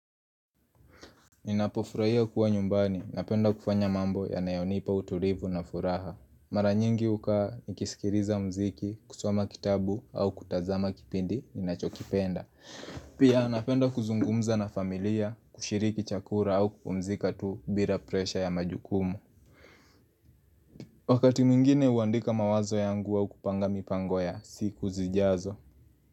Ninapofurahia kuwa nyumbani, napenda kufanya mambo yanayonipa utulivu na furaha. Mara nyingi hukaa nikisikiliza muziki, kusoma kitabu au kutazama kipindi ninachokipenda. Pia napenda kuzungumza na familia, kushiriki chakula au kupumzika tu bila presha ya majukumu. Wakati mwingine huandika mawazo yangu au kupanga mipango ya siku zijazo.